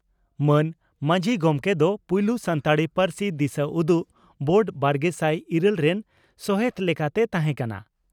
ᱢᱟᱱ ᱢᱟᱹᱡᱷ ᱜᱚᱢᱠᱮ ᱫᱚ ᱯᱩᱭᱞᱩ ᱥᱟᱱᱛᱟᱲᱤ ᱯᱟᱹᱨᱥᱤ ᱫᱤᱥᱟᱹᱩᱫᱩᱜ ᱵᱳᱨᱰ ᱵᱟᱨᱜᱮᱥᱟᱭ ᱤᱨᱟᱹᱞ ᱨᱮᱱ ᱥᱚᱦᱮᱛ ᱞᱮᱠᱟᱛᱮᱭ ᱛᱟᱦᱮᱸ ᱠᱟᱱᱟ ᱾